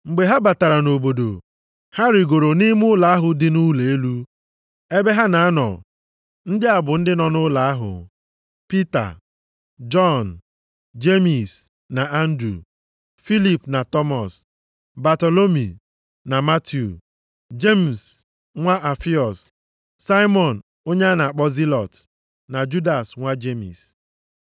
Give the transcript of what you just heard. Mgbe ha batara nʼobodo, ha rigoro nʼime ụlọ ahụ dị nʼụlọ elu, ebe ha na-anọ. Ndị a bụ ndị nọ nʼụlọ ahụ: Pita, Jọn, Jemis na Andru, Filip na Tọmọs, Batalomi na Matiu, Jemis nwa Alfiọs, Saimọn onye a na-akpọ Zilọt na Judas nwa Jemis.